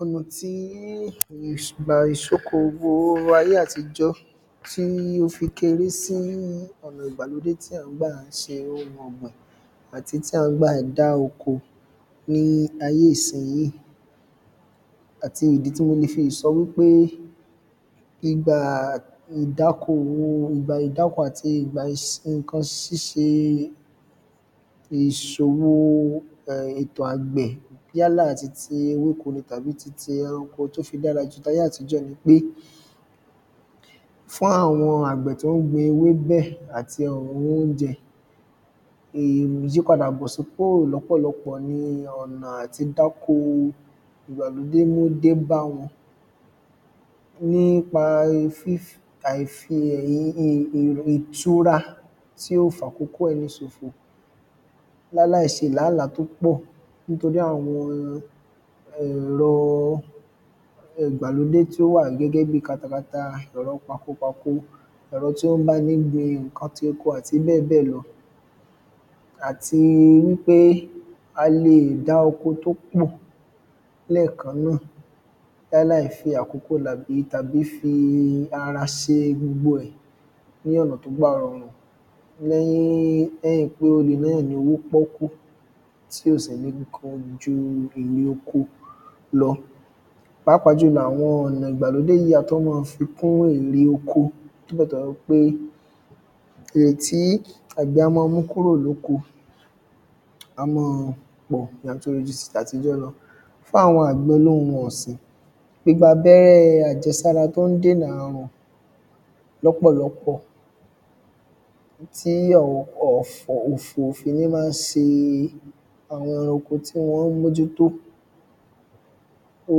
ọ̀nà tí ìgbà ìṣokòwò ayé àtijọ́ tí ó fi kéré sí ọ̀nà ìgbàlódé tí à ń gbà ṣe ohun ọ̀gbìn àti tí à ń gbà dá oko ní ayé ìsinyìí àti ìdí tí mo le fi sọ wípé ìgbà ìdáko àti ìgbà ìṣe ǹkan ṣiṣé ìṣòro ètò àgbẹ̀ yálà titi ewéko ni tàbí titi ẹranko tó fi dára ju tí ayé àtijọ́ nipé fún àwọn àgbẹ̀ tó gbin ewébẹ̀ àti àwọn oúnjẹ, ìyípadà bọ̀ sípò lọ́pọ̀lọpọ̀ ni ọ̀nà àtidáko ìgbàlódé mú dé báwọn nípa fífi àìfi ẹ̀yìn ìtura tí ó fàkókò ẹni sòfò láláìṣe làá làá tó pọ̀ nítorí àwọn ẹ̀rọ ìgbàlódé tó wà gẹ́gẹ́ bí katakata ẹ̀rọ pakopako, ẹ̀rọ tí ó ń bá ni gbin ǹkan ti oko àti bẹ́ẹ̀bẹ́ẹ̀ lọ àti wípé a lè dá oko tó pọ̀ lẹ́ẹ̀kan náà láláì fi àkókò làgbí tàbí fi ara ṣe gbogbo ẹ̀ ní ọ̀nà tó bá rọrùn lẹ́yìn pé ó le ná yàn lówó pọ́ọ́kú tí ò sì ní pọ̀ ju èrè oko lọ pàápàá jùlọ àwọn ọ̀nà ìgbàlódé á tún máa fi kún èrè oko nígbà tó wá wípé èrè tí àgbẹ̀ á máa mú kúrò ní oko á mọ́ ọ pọ̀ yàtọ̀ sí ti àtijọ́ lọ fún àwọn àgbẹ̀ olóhun ọ̀sìn gbígba abẹ́rẹ́ àjẹsára tó ń dènà ààrùn lọ́pọ̀lọpọ̀ tí àwọn ọ̀fọ̀ ó fi ní máa se àwọn ẹranko tí wọ́n bójú tó, ó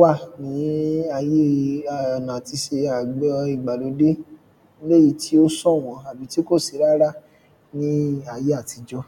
wà ní ayé ọ̀nà àti ṣe àgbẹ̀ ìgbàlódé ní èyí tó sọ̀wọ́n àbí tí kò sí rárá ní ayé àtijọ́